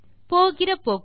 போகிற போக்கில்